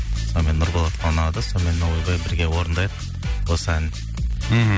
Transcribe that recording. сонымен нұрболатқа ұнады сонымен ойбай бірге орындайық осы әнді мхм